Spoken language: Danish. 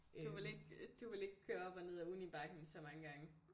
Du ville ikke du ville ikke køre op og ned ad unibakken så mange gange